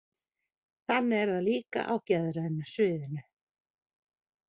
Þannig er það líka á geðræna sviðinu.